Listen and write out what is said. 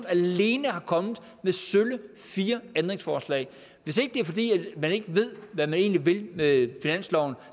alene er kommet med sølle fire ændringsforslag hvis det ikke er fordi man ikke ved hvad man egentlig vil med finansloven